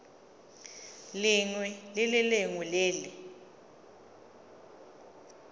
lengwe le lengwe le le